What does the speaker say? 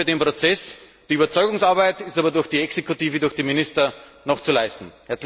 Wir sind offen für den Prozess, die Überzeugungsarbeit ist aber durch die Exekutive, durch die Minister, noch zu leisten.